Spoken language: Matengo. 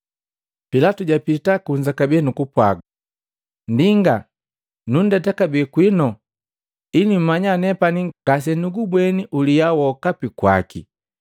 Pilatu japita kunza kabee nukupwa, “Nndinga nundeta kabee kwinu ili mmanya nepani ngasenugubweni uliya wokapi kwaki.”